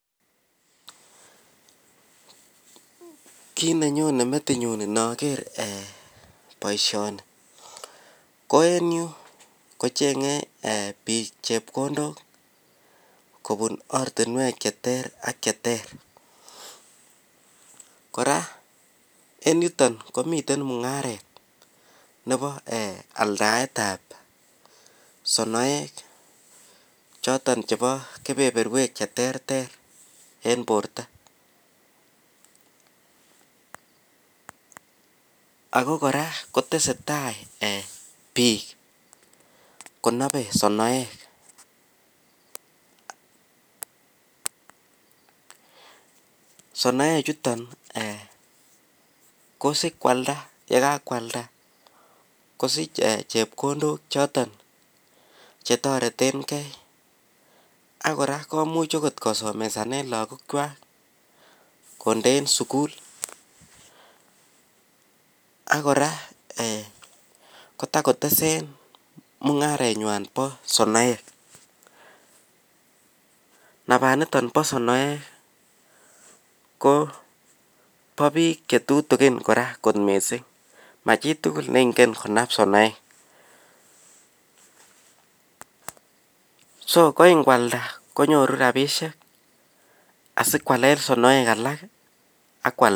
Kit nenyone metinyun noker eeh boishoni ko en yuu kochenge bik chepkondok kobun ortinwek cheter ak cheter ,en yuu komii oratunwek chebo aldaetab sonoek choton chebo kebeberwek cheterter en borto. Ako koraa kotesetai bik konobe sonoek, sonoek chuton ko sikwalda yekakwalda kosich ee chepkondok choton chetoretengee ak koraa komuch okot kosomesanen lokok kwak kondeen sukul ak koraa eeh kotakotesen mungarenywan bo sonoek, nabaniton bo sonoek Kobo bik chetutukin koraa kot missing machitukul nengen konab sonoek. So ko ngwalda konyoru rabishek asikwalen sinoek alak ak kwalda.